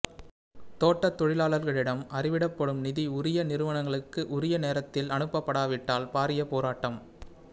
தோட்டத்தொழிலாளர்களிடம் அறவிடப்படும் நிதி உரிய நிறுவனங்களுக்கு உரிய நேரத்தில் அனுப்படாவிட்டால் பாரிய போராட்டம்